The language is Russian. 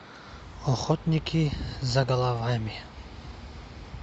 охотники за головами